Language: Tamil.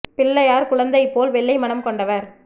பிள்ளையார் குழந்தைபோல் வெள்ளைமனம் கொண்டவர்